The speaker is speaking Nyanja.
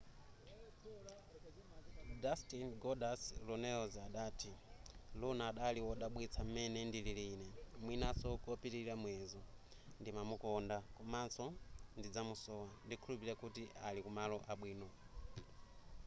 dustin goldust runnels adati luna adali wodabwitsa m'mene ndilili ine mwinaso kopitilira muyezo ndimamukonda komanso ndizamusowa ndikukhulupilira kuti ali kumalo abwino